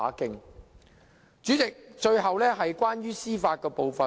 代理主席，最後是關於司法部分。